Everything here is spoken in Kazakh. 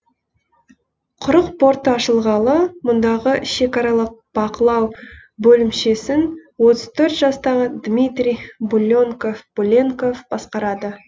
құрық порты ашылғалы мұндағы шекаралық бақылау бөлімшесін отыз төрт жастағы дмитрий буленков басқарады